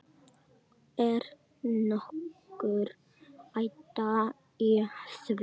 Er nokkur hætta á því?